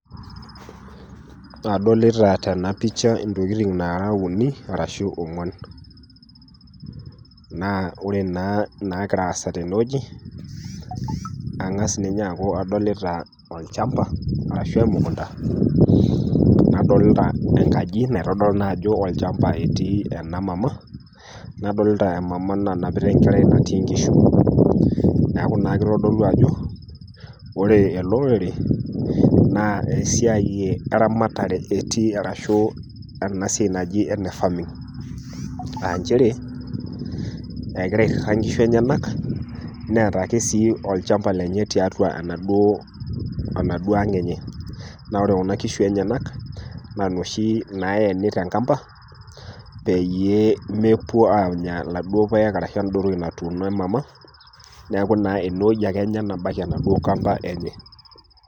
Adolita tena pisha intokitin naara uni ashu ong'uan, naa ore taa inaagira aasa tenewueji ang'as ninye aaku adolita olchamba arashu emokunta, nadolita enkaji naitodolu naa ajo olchamba otii ena mama, nadolita emama nanapita enkerai natii inkishu, neaku keitodolu naa ajo ore olorere naa esiai eramatare etii arashu ena siai naji ene farming, nchere egira airita inkishu enyenak, neata ake sii olchamba lenye tiatua enaduo ang' enye, naa ore Kuna kishu enyena naa inoshi naeni te enkampa peyie mepuo aanya laduo paek ashu ende wueji natuuno emama, neaku naa ine wueji ake Enya nabaiki enaduo kampa enye.